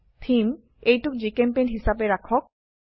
থেমে এইটোক জিচেম্পেইণ্ট হিসাবে ৰাখক